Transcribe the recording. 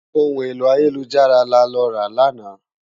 Óhún éló àyélújárà lálòrá làná